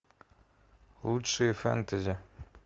лучшие фэнтези